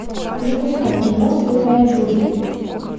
запускай кино святая джуди